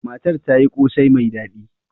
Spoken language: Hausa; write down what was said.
Matar ta yi kosai mai daɗi.